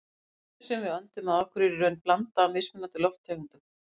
Loftið sem við öndum að okkur er í raun blanda af mismunandi lofttegundum.